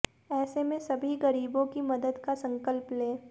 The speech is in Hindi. ऐसे में सभी गरीबों की मदद का संकल्प लें